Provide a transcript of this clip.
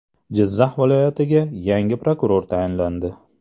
Jizzax viloyatiga yangi prokuror tayinlandi.